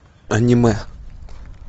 аниме